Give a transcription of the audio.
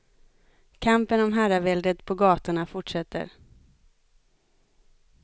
Kampen om herraväldet på gatorna fortsätter.